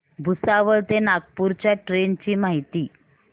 भुसावळ ते नागपूर च्या ट्रेन ची माहिती